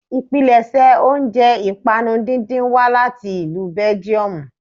Ìpilẹ̀ṣẹ̀ oúnjẹ ìpànu díndín wá láti ìlú belgiumu